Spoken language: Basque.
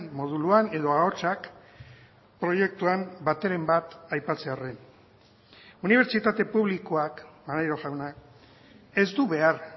moduluan edo ahotsak proiektuan bateren bat aipatzearren unibertsitate publikoak maneiro jauna ez du behar